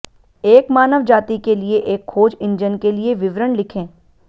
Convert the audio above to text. एक मानव जाति के लिए एक खोज इंजन के लिए विवरण लिखें